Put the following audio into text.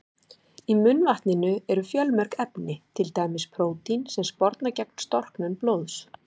Í munnvatninu eru fjölmörg efni, til dæmis prótín sem sporna gegn storknun blóðs.